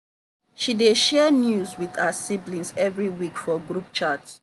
she dey share news with her siblings every week for group chat.